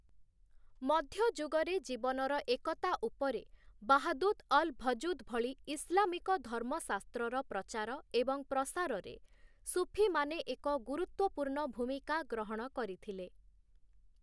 ମଧ୍ୟଯୁଗରେ ଜୀବନର ଏକତା ଉପରେ ବାହାଦୂତ ଅଲ-ଭଜୁଦ ଭଳି ଇସଲାମିକ ଧର୍ମଶାସ୍ତ୍ରର ପ୍ରଚାର ଏବଂ ପ୍ରସାରରେ ସୁଫିମାନେ ଏକ ଗୁରୁତ୍ୱପୂର୍ଣ୍ଣ ଭୂମିକା ଗ୍ରହଣ କରିଥିଲେ ।